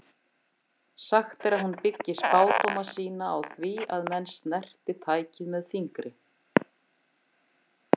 Sagt er að hún byggi spádóma sína á því að menn snerti tækið með fingri.